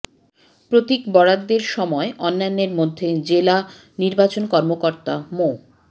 প্রতীক বরাদ্দের সময় অন্যান্যের মধ্যে জেলা নির্বাচন কর্মকর্তা মো